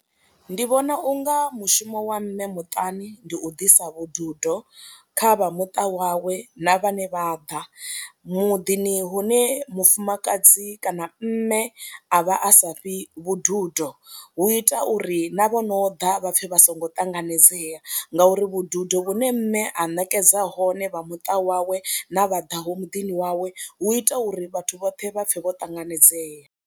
Ndi vhona u nga mushumo wa mme muṱani ndi u ḓisa vhududo kha vha muṱa wawe na vhane vha ḓa, muḓini hune mufumakadzi kana mme a vha a sa fhi vhududo hu ita uri na vho no ḓa vha pfhe vha songo ṱanganedzea ngauri vhududo vhune mme ha ṋekedza nahone vha muṱa wawe na vha ḓaho muḓini wawe hu ita uri vhathu vhoṱhe vha pfhe vho ṱanganedzea.